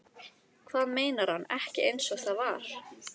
Hvað meinar hann ekki einsog það var?